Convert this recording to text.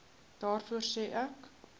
daarvoor sê ek